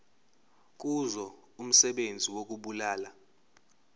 kuzo umsebenzi wokubulala